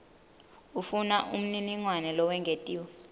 ufuna umniningwane lowengetiwe